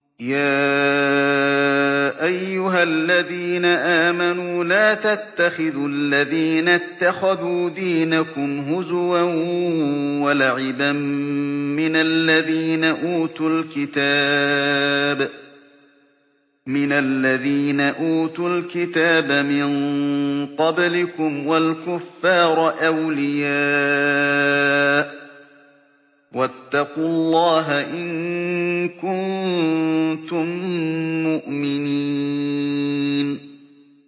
يَا أَيُّهَا الَّذِينَ آمَنُوا لَا تَتَّخِذُوا الَّذِينَ اتَّخَذُوا دِينَكُمْ هُزُوًا وَلَعِبًا مِّنَ الَّذِينَ أُوتُوا الْكِتَابَ مِن قَبْلِكُمْ وَالْكُفَّارَ أَوْلِيَاءَ ۚ وَاتَّقُوا اللَّهَ إِن كُنتُم مُّؤْمِنِينَ